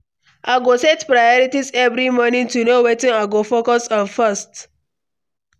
I go set priorities every morning to know wetin I go focus on first.